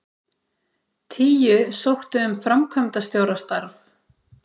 Tíu sóttu um framkvæmdastjórastarf